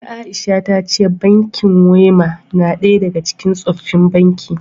Kaka Aisha ta ce bankin Wema na daya daga cikin tsofaffin bankin